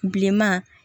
Bilenman